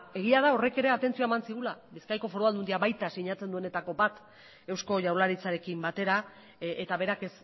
egia da horrek ere atentzioa eman zigula bizkaiko foru aldundia eta baita sinatzen duenetako bat eusko jaurlaritzarekin batera eta berak